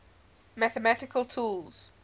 mathematical tools